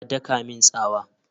Ya daka min tsawa?